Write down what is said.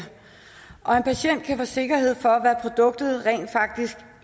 og en patient kan få sikkerhed for produktet rent faktisk